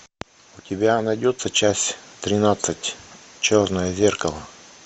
у тебя найдется часть тринадцать черное зеркало